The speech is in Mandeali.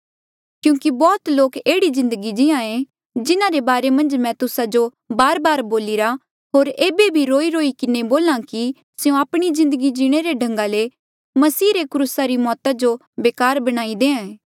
क्यूंकि बौह्त लोक एह्ड़ी जिन्दगी जिए जिन्हारे बारे मन्झ मैं तुस्सा जो बारबार बोलिरा होर एेबे भी रोईरोई किन्हें बोल्हा कि स्यों आपणी जिन्दगी जीणे रे ढंगा ले मसीह रे क्रूसा री मौता जो बेकार बनाई देआ ऐें